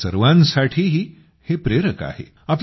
आपल्या सर्वांसाठीही हे प्रेरक आहे